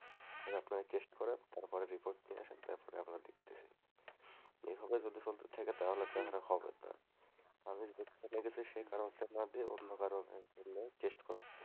আপনারা টেস্ট করেন, তারপরে রিপোর্ট নিয়ে আসেন তারপর আমরা দেখতাছি, এভাবে যদি চলতে থাকে তাহলে তো আর হবে না, আমি যে কারনে গেছি সেই কারনটা না দিয়ে অন্য কারনের টেস্ট করতে দিয়েছে,